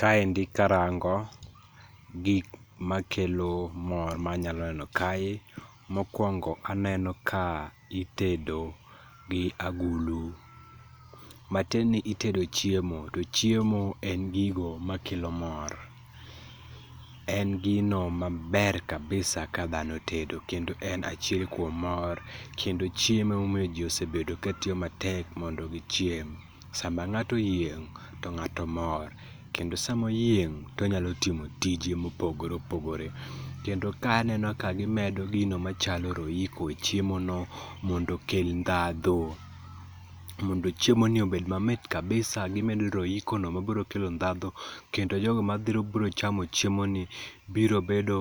Kaendi karango gik ma kelo mor manyalo neno kae. Mokuongo aneno ka itedo gi agulu. Matieni itedo chiemo, to chiemo en gigo makelo mor. En gino maber kabisa kadhano tedo, kendo en achiel kuom mor, kendo chiemo emomiyo ji osebedo ka tiyo matek mondo gichiem. Sama ng'ato oyieng' to ng'ato mor. kendo sama oyieng' tonyalo timo tije mopogore opogore. Kendo ka aneno ka gimedo gino machalo royco e chiemo no mondo okel ndhadhu. Mondo chiemo ni obed mamit kabisa gimedo royco no mabiro kelo ndhadhu kendo jogo mabiro chamo chiemo ni biro bedo